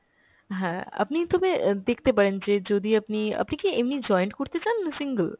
হ্যাঁ আপনি তবে দেখতে পারেন যে যদি আপনি, আপনি কি এমনি joint করতে চান না single?